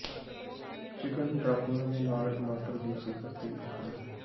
chicken ਡਰਾਪੀਆਂ ਦੇ ਨਾਲ ਟਮਾਟਰ ਦੀ ਸਿਖਰ ਤੇ ਕਪੜੇ